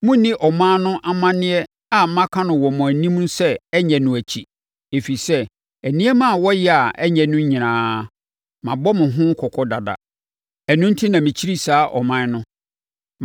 Monnni ɔman no amanneɛ a maka no wɔ mo anim sɛ ɛnyɛ no akyi, ɛfiri sɛ, nneɛma a wɔyɛ a ɛnyɛ no nyinaa, mabɔ mo ho kɔkɔ dada. Ɛno enti na mekyiri saa aman no.